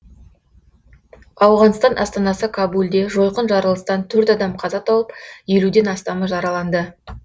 ауғанстан астанасы кабулде жойқын жарылыстан төрт адам қаза тауып елуден астамы жараланды